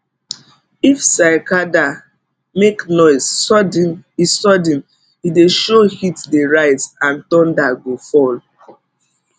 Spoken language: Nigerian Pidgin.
if cicada make noise sudden e sudden e dey show heat dey rise and thunder go fall